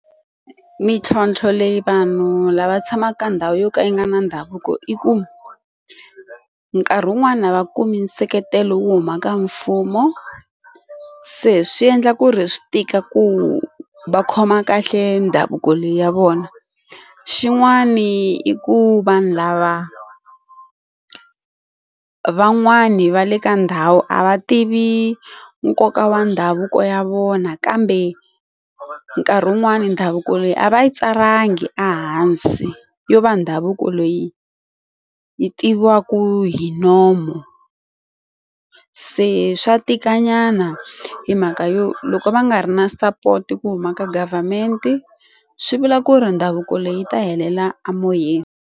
Mintlhontlho leyi vanhu lava tshamaka ka ndhawu yo ka yi nga na ndhavuko i ku nkarhi wun'wani a va kumi nseketelo wo huma ka mfumo se swi endla ku ri swi tika ku va khoma kahle ndhavuko leyi ya vona xin'wani i ku vanhu lava van'wani va le ka ndhawu a va tivi nkoka wa ndhavuko ya vona kambe nkarhi wun'wani ndhavuko leyi a va yi tsalangi ehansi yo va ndhavuko loyi yi tiviwaka hi nomu se swa tika nyana hi mhaka yo loko va nga ri na support ku huma ka government swi vula ku ri ndhavuko leyi ta helela emoyeni.